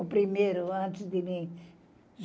O primeiro, antes de mim.